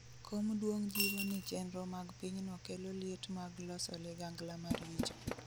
Kom duong' jiwo ni chenro mag pinyno kelo liet mag loso ligangla maricho